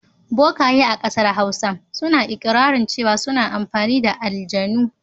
Bokaye a ƙasar Hausa suna iƙirarin cewa suna amfani da aljanu.